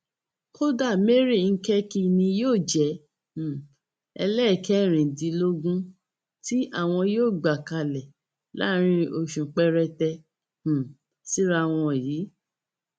kódà mary ńkẹkí ni yóò jẹ um ẹlẹẹkẹrìndínlógún tí àwọn yóò gbà kalẹ láàárín oṣù péréte um síra wọn yìí